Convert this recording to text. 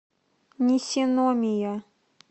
нисиномия